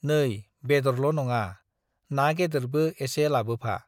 नै बेदरल' नङा, ना गेदेरबो एसे लाबोफा ।